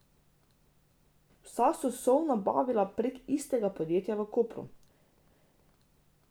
Vsa so sol nabavila prek istega podjetja v Kopru.